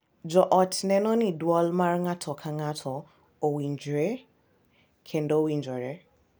Jo ot neno ni dwol mar ng’ato ka ng’ato owinjre kendo winjore,